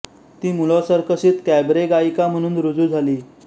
ती मूलॉं सर्कशीत कॅबरे गायिका म्हणून रुजू झाली